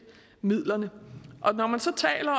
midlerne når man så taler